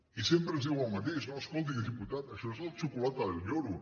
i sempre ens diuen el mateix no escolti diputat això és la xocolata del lloro